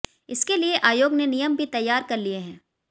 इसके लिए आयोग ने नियम भी तैयार कर लिए हैं